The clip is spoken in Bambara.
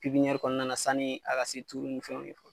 kɔnɔna na sanu a ka se turu ni fɛnw